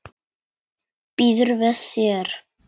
Býður við þér.